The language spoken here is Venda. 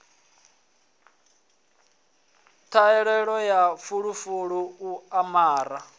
ṱhahelelo ya fulufulu u amara